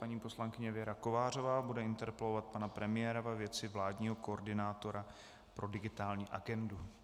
Paní poslankyně Věra Kovářová bude interpelovat pana premiéra ve věci vládního koordinátora pro digitální agendu.